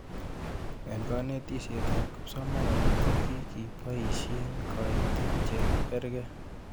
Eng' kanetishet ab kipsomanik ko kikipoishe kaitetet che karkei